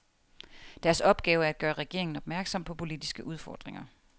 Deres opgave er at gøre regeringen opmærksom på politiske udfordringer.